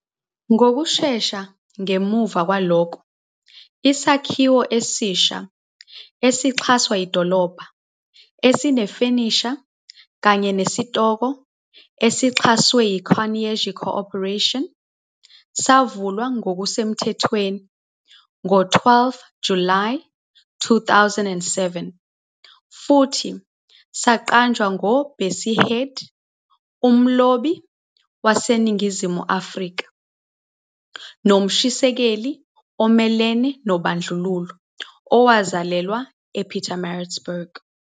Ngokushesha ngemva kwalokho, isakhiwo esisha esixhaswa idolobha, esinefenisha kanye nesitoko esixhaswe yI-Carnegie Corporation, savulwa ngokusemthethweni ngo-12 July 2007 futhi saqanjwa ngoBessie Head, umlobi waseNingizimu Afrika nomshisekeli omelene nobandlululo owazalelwa ePietermaritzburg.